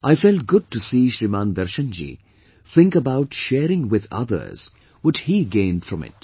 I felt good to see Shriman Darshan ji think about sharing with others what he gained from it